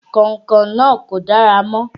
Kàìnkàìn náà kò dára mọ́.